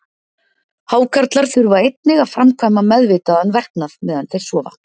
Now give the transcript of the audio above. Hákarlar þurfa einnig að framkvæma meðvitaðan verknað meðan þeir sofa.